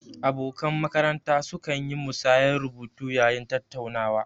Abokan makaranta su kan yi musayar rubutu yayin tattaunawa